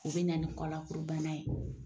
U bɛ na ni kɔlakurubana ye.